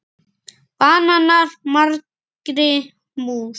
Banar margri mús